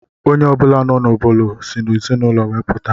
Onye ọ bụla nọ n'obodo si n'ezinụlọ we puta.